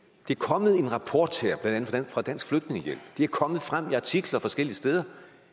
er kommet en rapport her blandt andet fra dansk flygtningehjælp det er kommet frem i artikler forskellige steder